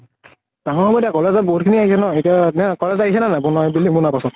ডাঙৰ হব এতিয়া college ত বহুত নি আহিছে ন এতিয়া ন college আহিছে নে নাই ব্নোৱা ব building বনোৱাৰ পাছত?